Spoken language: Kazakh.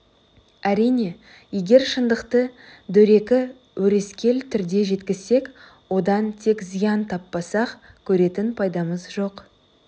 әрине егер шындықты дөрекі өрескел түрде жеткізсек одан тек зиян таппасақ көретін пайдамыз жоқ